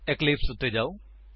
Eclipse ਉੱਤੇ ਜਾਓ